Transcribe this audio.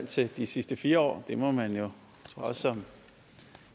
til de sidste fire år det må man jo også som